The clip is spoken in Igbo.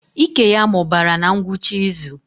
Ike ya mụbara na ngwụcha izu